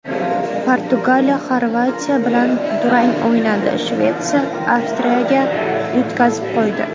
Portugaliya Xorvatiya bilan durang o‘ynadi, Shvetsiya Avstriyaga yutqazib qo‘ydi .